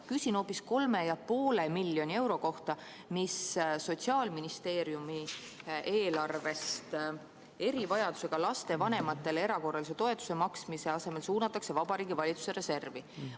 Küsin hoopis 3,5 miljoni euro kohta, mis suunatakse Sotsiaalministeeriumi eelarvest erivajadusega laste vanematele erakorralise toetuse maksmise asemel Vabariigi Valitsuse reservi.